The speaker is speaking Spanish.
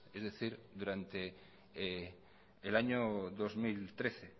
es decir durante el año dos mil trece